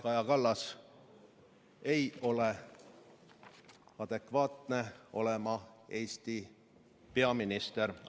Kaja Kallas ei ole adekvaatne olema Eesti peaminister.